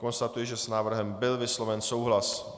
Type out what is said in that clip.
Konstatuji, že s návrhem byl vysloven souhlas.